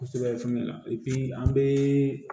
Kosɛbɛ fɛnɛ an bɛ